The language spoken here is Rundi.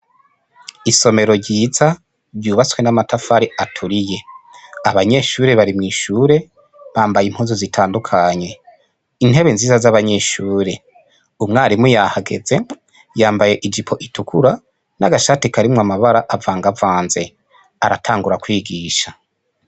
Isomero ryiza ryubatswe n'amatafari aturiye, abanyeshure bari mw'ishure bambaye impuzu zitandukanye, intebe nziza z'abanyeshure. Umwarimu yahageze yambaye ijipo itukura n'agashati karimwo amabara avangavanze, aratangura kwigisha.